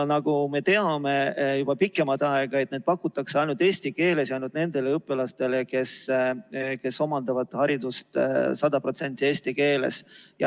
Nagu me teame juba pikemat aega, pakutakse neid ainult eesti keeles ja ainult nendele õpilastele, kes omandavad haridust 100% eesti keeles.